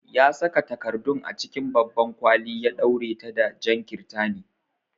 Ya saka takardun a cikin babban kwali ya ɗaure ta da jan kirtani.